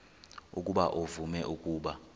ukuba uvume ukuba